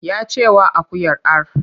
Ya ce wa akuyar ar!